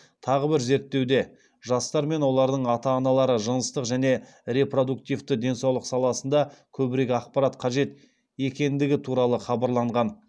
тағы бір зерттеуде жастар мен олардың ата аналары жыныстық және репродуктивті денсаулық саласында көбірек ақпарат қажет екендігі туралы хабарланған